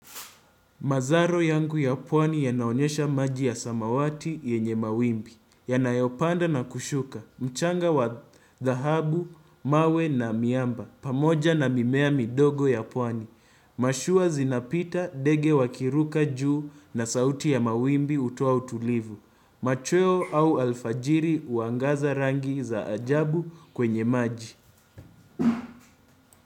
Mazaro yangu ya puani yanaonyesha maji ya samawati yenye mawimbi. Yanayopanda na kushuka. Mchanga wa dahabu, mawe na miamba. Pamoja na mimea midogo ya puani. Mashua zinapita, dege wakiruka juu na sauti ya mawimbi hutoa utulivu. Machweo au alfajiri uangaza rangi za ajabu kwenye maji.